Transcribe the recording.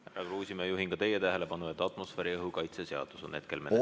Härra Kruusimäe, juhin ka teie tähelepanu, et atmosfääriõhu kaitse seadus on meil hetkel menetluses.